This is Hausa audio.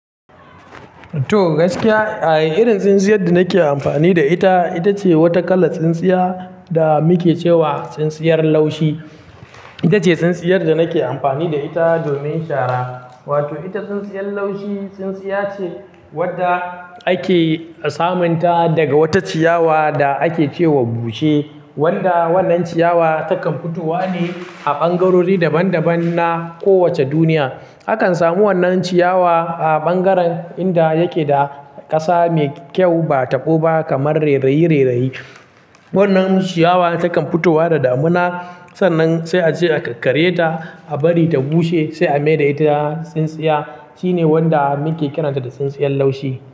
To, gaskiya, eh, irin tsintsiyar da nake amfani da ita, ita ce wata kalar tsintsiya da muke cewa tsintsiyar laushi. Ita ce tsintsiyar da nake amfani da ita domin shara. Wato ita tsintsiyar laushi, tsintsiya ce wadda ake samunta daga wata ciyawa da ake ce wa bushe. Wanda wannan ciyawa takan fitowa ne a ɓangarori daban daban na kowace duniya. Akan samu wannan ciyawa a ɓangaren inda yake da ƙasa mai kyau ba taɓo ba kamar rerayi-rerayi. Wannan ciyawa takan fitowa da damina, sannan sai a je a kar karye ta a bari ta bushe sai a maye da ita tsintsiya. Shine wanda muke kiransa da tsintsiyar laushi.